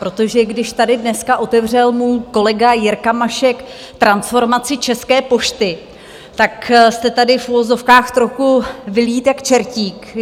Protože když tady dneska otevřel můj kolega Jirka Mašek transformaci České pošty, tak jste tady, v uvozovkách, trochu vylít jak čertík.